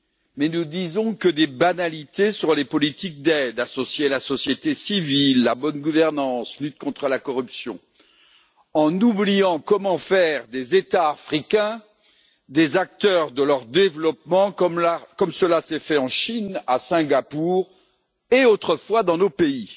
Mais nous ne disons que des banalités sur les politiques d'aide associer la société civile, la bonne gouvernance, lutte contre la corruption en oubliant comment faire des États africains des acteurs de leur développement, comme cela s'est fait en Chine, à Singapour et autrefois dans nos pays.